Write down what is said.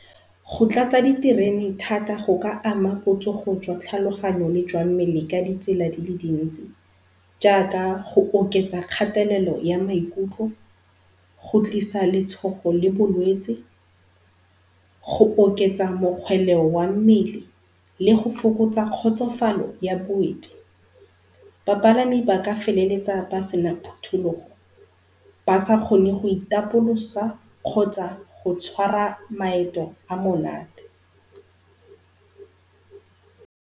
Go tlatsa di terene thata go ka ama botsogo jwa tlhaloganyo jwa mmele ka di tsela dile dintsi. Jaaka go oketsa kgathelelo ya maikutlo, go tlisa letshogo le bolwetse, go oketsa mokgoleo wa mmele le go fokotsa kgotsofalo ya boeti. Bapalami ba ka feleletsa ba sena phutulogo ba sa kgone go itapolosa kgotsa go tshwara maeto a monate.